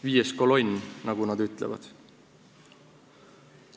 Viies kolonn, nagu nad ütlevad.